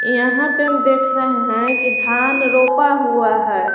यहाँ पर हम देख रहे हैं की धान रोपा हुआ है।